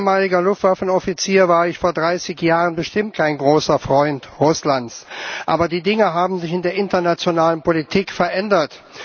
Herr Präsident! Als ehemaliger Luftwaffenoffizier war ich vor 30 Jahren bestimmt kein großer Freund Russlands. Aber die Dinge haben sich in der internationalen Politik verändert.